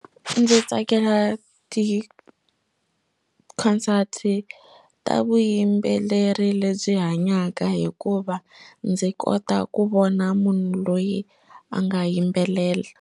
Ndzi tsakela ti concert ta vuyimbeleri lebyi hanyaka hikuva ndzi kota ku vona munhu loyi a nga yimbelela.